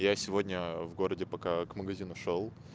я сегодня в городе пока к магазину шёл